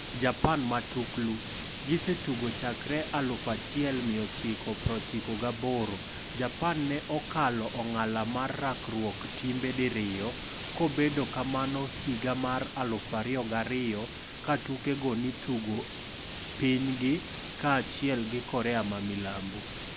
Japan Matuklu: Gisetugo chakre 1998, Japan ne okalo ong'ala mar rakruok timbe diriyo, kobedo kamano higa mar 2002 katuke go ni tugo pinygi kaachiel gi Korea ma milambo.